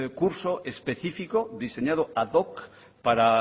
curso específico diseñado ad hoc para